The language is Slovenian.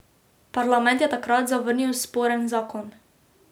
Parlament je takrat zavrnil sporen zakon.